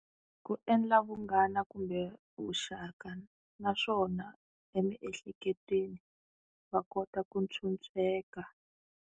Ku endla vunghana kumbe vuxaka naswona emiehleketweni va kota ku phyuphyeka.